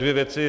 Dvě věci.